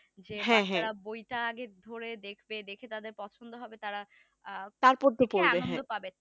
যে বাচ্চারা বইটা আগে ধরে দেখবে দেখে তাদের পছন্দ হবে তারা প্রত্যেকেই আনন্দ পাবে